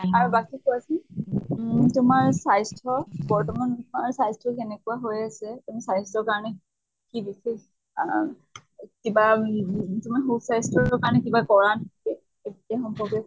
আৰু বাকী কোৱাচোন উম তোমাৰ স্বাস্থ্য়, বৰ্তমান তোমাৰ স্বাস্থ্য় কেনেকুৱা হৈ আছে । তুমি স্বাস্থ্য়ৰ কাৰণে কি বিশেষ কিবা উম তুমি সুস্বাস্থ্য়ৰ কাৰণে কিবা কৰা নেকি? সেই সম্পৰ্কে